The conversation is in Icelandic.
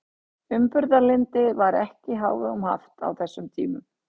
Umburðarlyndi var ekki í hávegum haft á þessum tímum.